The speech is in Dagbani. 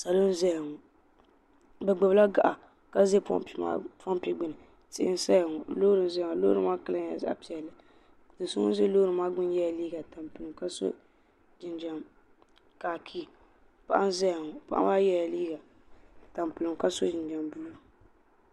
Sheba n zaya ŋɔ bɛ gbibila gaɣa ka ʒɛ pompi gbini tihi n saya ŋɔ loori n zaya ŋɔ loori maa kala nyɛ zaɣa piɛlli do'so ŋun za loori maa ŋuni maa yela liiga tampilim ka so jinjiɛm kaakii paɣa n zaya ŋɔ paɣa maa yela liiga tampilim ka so jinjiɛm buluu.